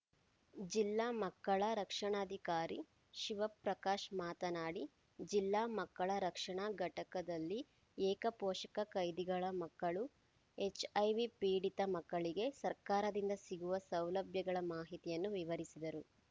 ಜಿಲ್ಲಾ ಮಕ್ಕಳ ರಕ್ಷಾಣಾಧಿಕಾರಿ ಶಿವಪ್ರಕಾಶ್‌ ಮಾತನಾಡಿ ಜಿಲ್ಲಾ ಮಕ್ಕಳ ರಕ್ಷಣಾ ಘಟಕದಲ್ಲಿ ಏಕ ಪೋಷಕ ಖೈದಿಗಳ ಮಕ್ಕಳು ಹೆಚ್‌ಐವಿ ಪೀಡಿತ ಮಕ್ಕಳಿಗೆ ಸರ್ಕಾರದಿಂದ ಸಿಗುವ ಸೌಲಭ್ಯಗಳ ಮಾಹಿತಿಯನ್ನು ವಿವರಿಸಿದರು